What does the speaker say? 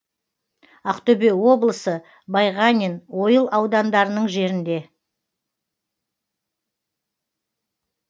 ақтөбе облысы байғанин ойыл аудандарының жерінде